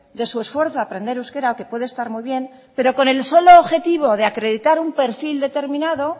de su esfuerzo a aprender euskera que puede estar muy bien pero con el solo objetivo de acreditar un perfil determinado